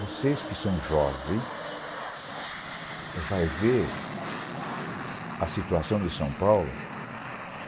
Vocês que são jovem vai ver a situação de São Paulo